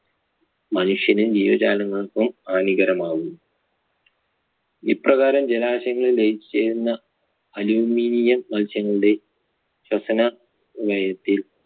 മനുഷ്യനും ജീവജാലങ്ങൾക്കും ഹാനികരമാകുന്നു. ഇപ്രകാരം ജലാശയങ്ങളിൽ ലയിച്ചു ചേരുന്ന aluminium അംശങ്ങളുടെ ശ്വസന ലയത്തിൽ